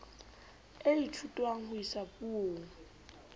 e ithutwang ho isa puong